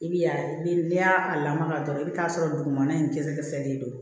I bi ya ni n'i y'a lamaga dɔrɔn i bi t'a sɔrɔ dugumana in dɛsɛ fɛlen don